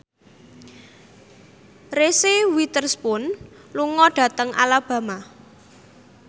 Reese Witherspoon lunga dhateng Alabama